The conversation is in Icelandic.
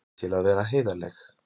Til að vera heiðarleg.